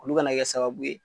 U ka na kɛ sababu ye